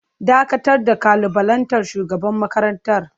Dakatar da kalubalantar shugaban makarantar!